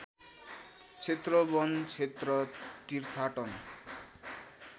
क्षेत्र वन क्षेत्र तीर्थाटन